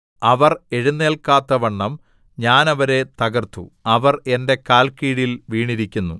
അവർ എഴുന്നേല്ക്കാത്തവണ്ണം ഞാൻ അവരെ തകർത്തു അവർ എന്റെ കാല്ക്കീഴിൽ വീണിരിക്കുന്നു